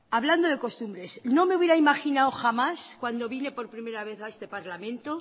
hablando de costumbres no me hubiera imaginado jamás cuando vine por primera vez a este parlamento